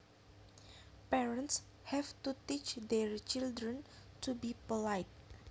Parents have to teach their children to be polite